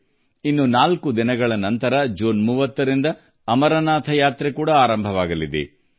ಕೇವಲ 4 ದಿನಗಳ ನಂತರ ಜೂನ್ 30 ರಿಂದ ಅಮರನಾಥ ಯಾತ್ರೆಯು ಕೂಡಾ ಪ್ರಾರಂಭಗೊಳ್ಳಲಿದೆ